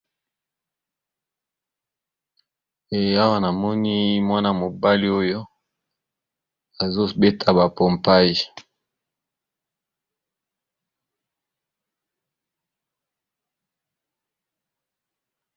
Awa namoni balakisi biso mwana mobali oyo azo beta ba mpopage azo sala sport